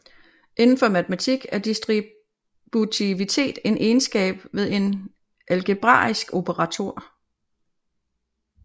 Inden for matematik er distributivitet en egenskab ved en algebraisk operator